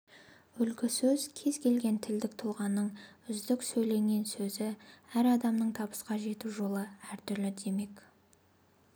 үлгі сөз кез келген тілдік тұлғаның үздік сөйленген сөзі әр адамның табысқа жету жолы әртүрлі демек